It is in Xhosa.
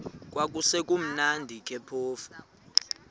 kwakusekumnandi ke phofu